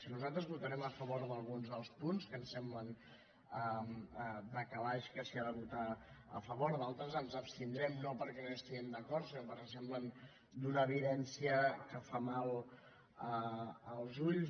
nosaltres votarem a favor d’alguns dels punts que ens sembla de calaix que s’hi ha de votar a favor en d’altres ens abstindrem no perquè no hi estiguem d’acord sinó perquè ens semblen d’una evidència que fa mal als ulls